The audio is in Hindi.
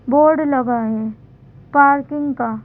बोर्ड लगा है पार्किंग का --